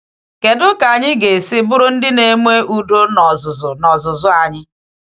Kedu ka anyị ga-esi bụrụ ndị na-eme udo n’ọzụzụ n’ọzụzụ anyị?